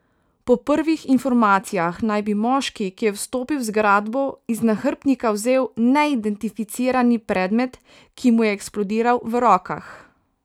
Po prvih informacijah naj bi moški, ki je vstopil v zgradbo, iz nahrbtnika vzel neidentificirani predmet, ki mu je eksplodiral v rokah.